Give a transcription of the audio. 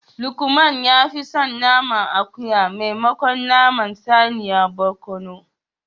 Lukman ya fi son naman akuya maimakon naman saniya barkono